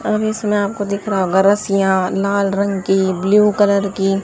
अब इसमें आपको दिख रहा होगा रसियां लाल रंग की ब्लू कलर की--